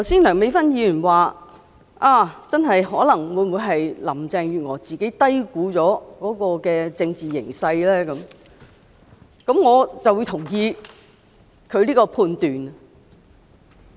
梁美芬議員剛才提到，林鄭月娥會否低估了政治形勢，我認同她這個判斷。